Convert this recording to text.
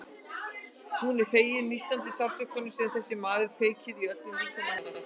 Hún er fegin nístandi sársaukanum sem þessi maður kveikir í öllum líkama hennar.